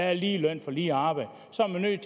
er lige løn for lige arbejde